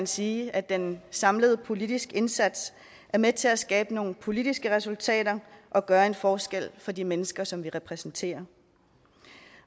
sige at den samlede politiske indsats er med til at skabe nogle politiske resultater og gøre en forskel for de mennesker som vi repræsenterer